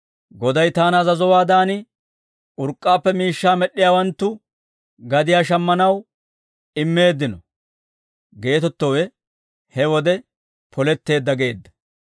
Goday taana azazowaadan, urk'k'aappe miishshaa med'd'iyaawanttu gadiyaa shammanaw immeeddino» geetettowe he wode poletteedda geedda.